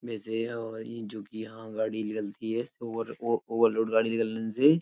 वैसे और ये जोकि यहाँ गाड़ी निकलती है ओवर ओवर ओवरलोड गाड़ी निकलने से --